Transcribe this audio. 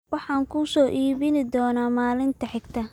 Waxaan kuu soo iibin doonaa maalinta xigta